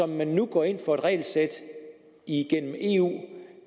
men nu går ind for et regelsæt igennem eu